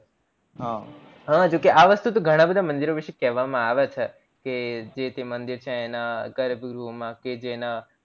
હજોકે આ વસ્તુ ઘણા બધા મંદિરો વિષે કહેવામાં આવે છે કે જે છે જે મંદિર ના ગર્ભ ગૃહ માં કે જેના